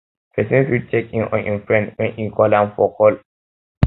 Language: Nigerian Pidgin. persin fit check in on im friend when e call am for call am for phone